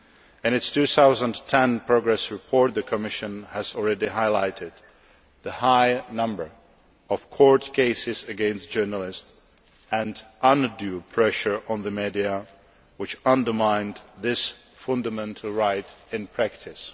In its 2010 progress report, the Commission has already highlighted the high number of court cases against journalists and undue pressure on the media which undermine this fundamental right in practice.